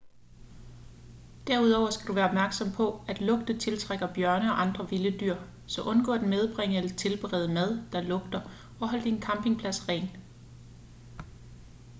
derudover skal du være opmærksom på at lugte tiltrækker bjørne og andre vilde dyr så undgå at medbringe eller tilberede mad der lugter og hold din campingplads ren